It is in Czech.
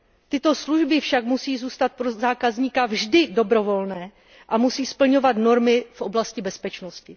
Tyto služby však musí zůstat pro zákazníka vždy dobrovolné a musí splňovat normy v oblasti bezpečnosti.